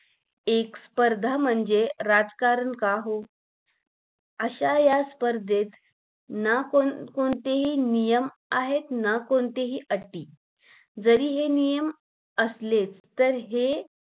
एक स्पर्धा म्हणजे राजकारण का हो अशा या स्पर्धेत ना कोणतेही नियम आहेत ना कोणत्याही अटी जरी हे नियम असलेच तरी हे